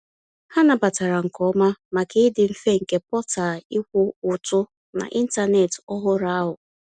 Ha nabatara nke oma, maka ịdị mfe nke portal ịkwụ ụtụ n’ịntanetị ọhụrụ ahụ.